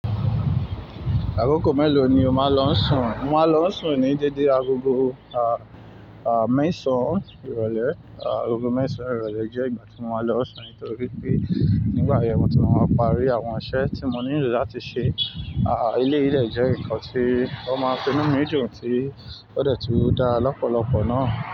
Akoko mélòó ni o máa ń lọ sùn? Mo máa ń lọ sùn ní dédé agogo, ah, ah, mẹ́sàn-án ìrọ̀lẹ́. Ah, agogo mẹ́sàn-án ìrọ̀lẹ́ jẹ́ ìgbà tí mo máa ń lọ sùn nítorí pé nígbà yẹn ni mo ti máa parí àwọn iṣẹ́ tí mo nílò láti ṣe. Ah, eleyi dẹ́ jẹ́ nǹkan tí wọ́n máa ń inu mi dun tí ó de tun dá lọ́pọ̀lọpọ̀ náà.